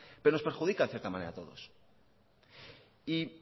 pero nos perjudican a cierta manera a todos y